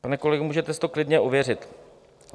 Pane kolego, můžete si to klidně ověřit.